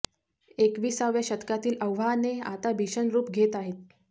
एकविसाव्या शतकातील आव्हाने आता भीषण रूप घेत आहेत